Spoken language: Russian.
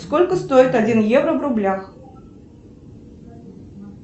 сколько стоит один евро в рублях